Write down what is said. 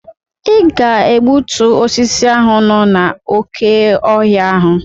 Ị ga egbutu osisi ahụ nọ n'oké ọhịa ahụ!